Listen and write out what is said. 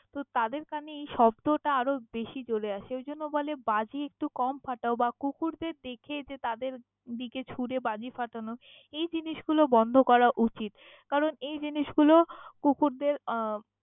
তাদের কানে এই শব্দ টা আরও বেশী জোরে আসে, সেই জন্য বলে বাজী একটু কম ফাটাও বা কুকুরদের দেখে যে তাদের দিকে ছুরে বাজী ফাটানো এই জিনিসগুলো বন্ধ করা উচিত। কারন এই জিনিস গুলো কুকুরদের আহ ।